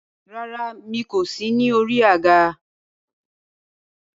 Rárá, mi kò sí ní orí àga.